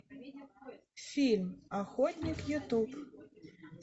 фильм охотник ютуб